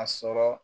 A sɔrɔ